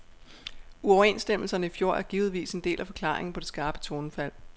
Uoverenstemmelserne i fjor er givetvis en del af forklaringen på det skarpe tonefald.